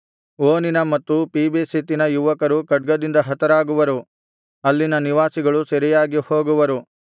ಓನಿನ ಮತ್ತು ಪೀಬೆಸೆತಿನ ಯುವಕರು ಖಡ್ಗದಿಂದ ಹತರಾಗುವರು ಅಲ್ಲಿನ ನಿವಾಸಿಗಳು ಸೆರೆಯಾಗಿ ಹೋಗುವರು